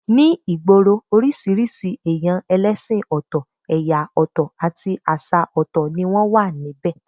Ní ìgboro, oríṣiríṣi èyàn ẹlẹ́sìn ọ̀tọ̀, ẹ̀yà ọ̀tọ̀ àti àṣà ọ̀tọ̀ ni wọ́n wà níbẹ̀